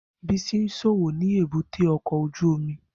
Bisi ń ṣòwò ni èbúté ọkọ̀ ojú omi